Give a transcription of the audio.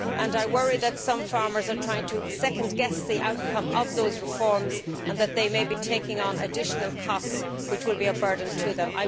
I worry that some farmers are trying to second guess the outcome of those reforms and that they may be taking on additional costs, which will be a burden to them.